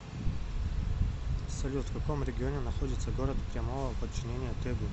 салют в каком регионе находится город прямого подчинения тэгу